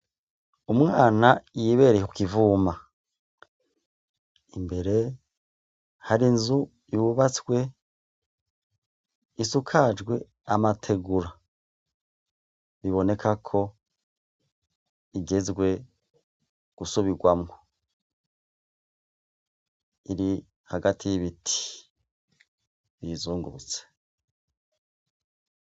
Umwana yibereye ku kivuma. Imbere hari inzu yubatswe, isakajwe amategura. Biboneka ko igezwe gusubirwamwo. Iri hagati y'ibiti biyizungurutse.